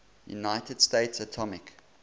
united states atomic